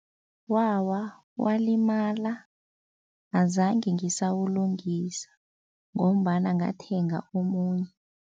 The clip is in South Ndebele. Wawa, walimala azange ngisawulungisa ngombana ngathenga omunye.